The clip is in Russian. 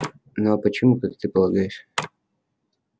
ну а почему как ты полагаешь